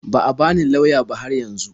Ba a bani lauya ba har yanzu.